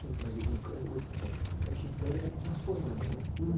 Sim, mas o.... o, esse então. O creche Plan, ele vai se transformando, né?